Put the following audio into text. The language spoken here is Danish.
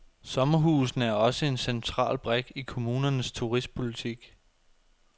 Sommerhusene er også en central brik i kommunernes turistpolitik.